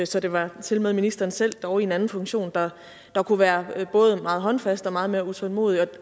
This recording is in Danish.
så det var tilmed ministeren selv dog i en anden funktion der kunne være både meget håndfast og meget mere utålmodig